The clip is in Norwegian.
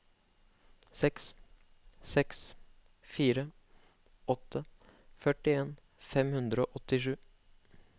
seks seks fire åtte førtien fem hundre og åttisju